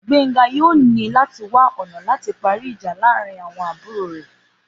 Gbénga yóò ní láti wá ọ̀nà láti parí ìjà láàárín àwọn àbúrò rẹ̀